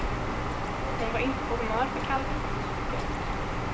Hon var inte på humör för kallprat. punkt